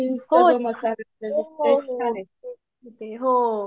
हो हो हो